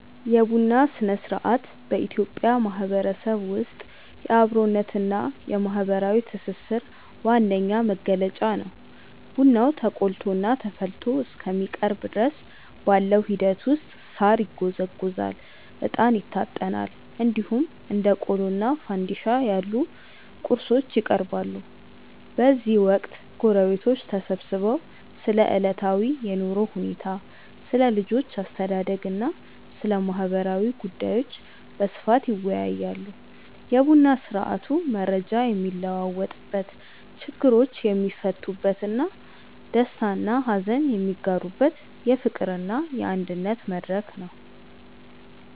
የቡና ሥነ-ሥርዓት በኢትዮጵያ ማህበረሰብ ውስጥ የአብሮነትና የማህበራዊ ትስስር ዋነኛ መገለጫ ነው። ቡናው ተቆልቶና ተፈልቶ እስከሚቀርብ ድረስ ባለው ሂደት ውስጥ ሳር ይጎዘጎዛል፣ እጣን ይታጠናል፣ እንዲሁም እንደ ቆሎና ፋንድሻ ያሉ ቁርሶች ይቀርባሉ። በዚህ ወቅት ጎረቤቶች ተሰብስበው ስለ ዕለታዊ የኑሮ ሁኔታ፣ ስለ ልጆች አስተዳደግና ስለ ማህበራዊ ጉዳዮች በስፋት ይወያያሉ። የቡና ስርአቱ መረጃ የሚለዋወጥበት፣ ችግሮች የሚፈቱበትና ደስታና ሀዘን የሚጋሩበት የፍቅርና የአንድነት መድረክ ነው።